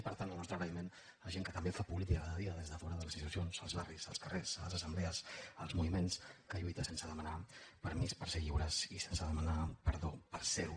per tant el nostre agraïment a gent que també fa política cada dia des de fora de les institucions als barris als carrers a les assemblees als moviments que lluiten sense demanar permís per ser lliures i sense demanar perdó per ser ho